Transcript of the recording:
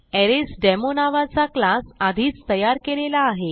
अरेसडेमो नावाचा क्लास आधीच तयार केलेला आहे